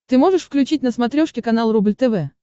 ты можешь включить на смотрешке канал рубль тв